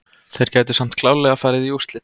Þeir gætu samt klárlega farið í úrslit.